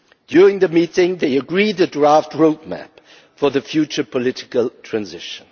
During the meeting they agreed a draft roadmap for the future political transition.